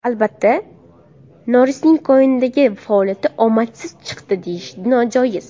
Albatta, Norrisning kinodagi faoliyati omadsiz chiqdi deyish, nojoiz.